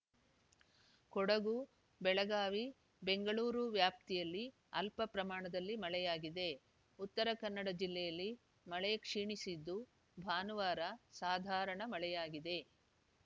ಕೊಡಗು ಬೆಳಗಾವಿ ಬೆಂಗಳೂರು ವ್ಯಾಪ್ತಿಯಲ್ಲಿ ಅಲ್ಪ ಪ್ರಮಾಣದಲ್ಲಿ ಮಳೆಯಾಗಿದೆ ಉತ್ತರ ಕನ್ನಡ ಜಿಲ್ಲೆಯಲ್ಲಿ ಮಳೆ ಕ್ಷೀಣಿಸಿದ್ದು ಭಾನುವಾರ ಸಾಧಾರಣ ಮಳೆಯಾಗಿದೆ